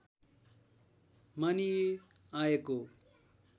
मानिई आएको